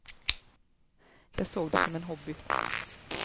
Jag såg det som en hobby.